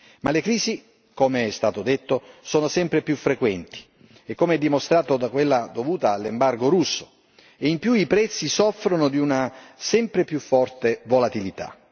Ma le crisi, come è stato detto, sono sempre più frequenti e come dimostrato da quella dovuta all'embargo russo e in più i prezzi soffrono di una sempre più forte volatilità.